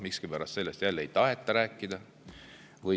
Miskipärast sellest jälle ei taheta rääkida.